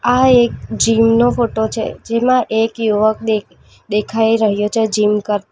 આ એક જીમ નો ફોટો છે જેમાં એક યુવક દે દેખાઈ રહ્યો છે જીમ કરતા --